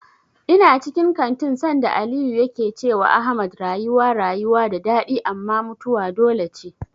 Ina cikin kantin sanda Aliyu yake cewa Ahmad rayuwa rayuwa da daɗi amma mutuwa dole ce.